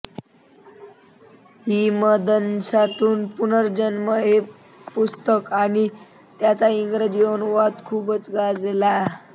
हिमदंशातून पुनर्जन्म हे त्यांचे पुस्तक आणि त्याचा इंग्रजी अनुवाद खूप गाजला